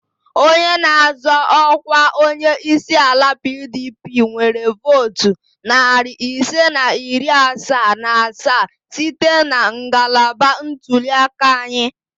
Onye na-azọ ọkwa onye isi ala PDP nwere votu narị ise na iri asaa na asaa site na ngalaba ntuli aka anyị